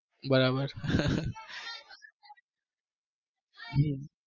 બરાબર હમ